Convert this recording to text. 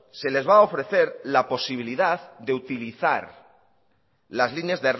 se les va a ofrecer la posibilidad de utilizar las líneas